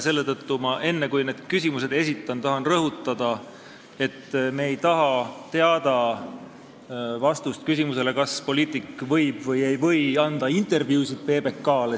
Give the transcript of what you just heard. Selle tõttu tahan ma enne, kui arupärimise küsimused esitan, rõhutada, et me ei taha teada vastust küsimusele, kas poliitik võib või ei või anda intervjuusid PBK-le.